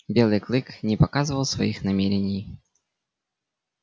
белый клык не показывал своих намерений